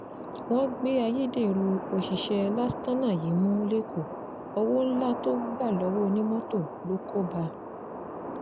wọ́n gbá ayédèrú òṣìṣẹ́ lastana yìí mú lẹ́kọ̀ọ́ owó ńlá tó gbà lọ́wọ́ onímọ́tò ló kó bá a